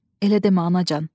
Elə demə, anacan!